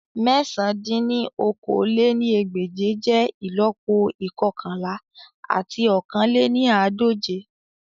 Mẹ̀sán dín ní okòó-lé-ní-ẹgbẹ́je jẹ ìlọ́po ikọkanla ati ọ̀kan lé ní àádọ́je